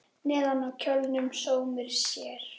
Neðan á kjólnum sómir sér.